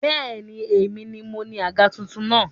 Bẹ́ẹ̀ni, èmi ni moní àga tuntun náà